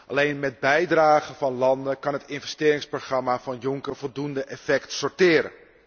Alleen met bijdragen van landen kan het investeringsprogramma van Juncker voldoende effect sorteren.